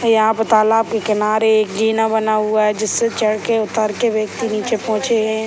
यहाँ पे तालाब के किनारे एक जीना बना हुआ है जिससे चढ़ के उतर के व्यक्ति नीचे पहुंचे है।